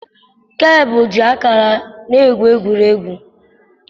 Keleb ji ákàrà na-egwuri egwu.